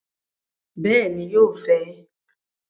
Bẹẹni, yóò fẹ